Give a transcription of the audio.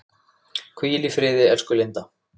Hvíl í friði, elsku Linda.